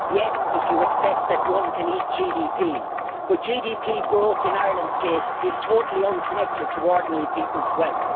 Yes, if you accept that one can eat GDP, but GDP growth in Ireland's case is totally unconnected to ordinary people's wealth.